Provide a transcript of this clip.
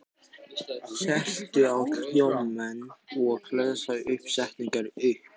Klementína, hvenær kemur vagn númer níu?